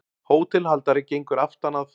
Hótelhaldari gengur aftan að